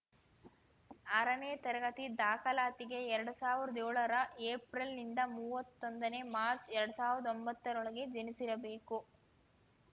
ಆರನೇ ತರಗತಿ ದಾಖಲಾತಿಗೆ ಎರಡ್ ಸಾವಿರ್ದಾ ಯೋಳರ ಏಪ್ರಿಲ್‌ನಿಂದ ಮೂವತ್ತೊಂದನೇ ಮಾರ್ಚ್ ಎರಡ್ ಸಾವಿರ್ದಾ ಒಂಬತ್ತರೊಳಗೆ ಜನಿಸಿರಬೇಕು